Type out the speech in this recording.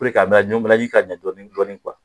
ka ɲɛ dɔɔnin dɔɔnin